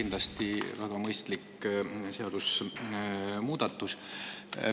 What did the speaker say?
Kindlasti väga mõistlik seadusemuudatus.